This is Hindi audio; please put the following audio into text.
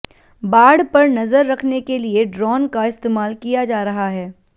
बाढ़ पर नजर रखने के लिए ड्रोन का इस्तेमाल किया जा रहा है